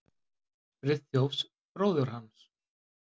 Friðþjófs bróður hans.